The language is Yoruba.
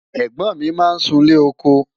ègbón mí má n sún ilé ọkọ